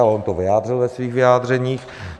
Ale on to vyjádřil ve svých vyjádřeních.